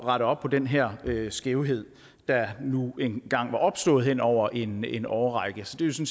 rette op på den her skævhed der nu engang var opstået hen over en en årrække så det